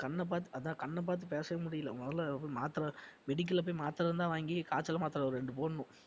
கண்ண பாத்து~ அதான் கண்ண பாத்து பேசவே முடியல முதல்ல மாத்திரை medical ல போய் மாத்திரை இருந்தா வாங்கி காய்ச்சல் மாத்திரை ஒரு இரண்டு போடணும்